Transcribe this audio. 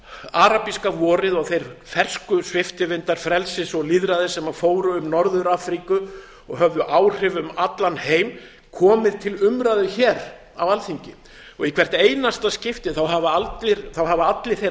arabíska vorið og þeir fersku sviptivindar frelsis og lýðræðis sem fóru um norður afríku og höfðu áhrif um allan heim komið til umræðu hér á alþingi og í hvert einasta skipti hafa allir þeir